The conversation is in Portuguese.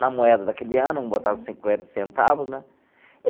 Na moeda daquele ano, botava cinquenta centavos, né?